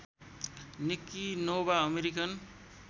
Nikki Nova American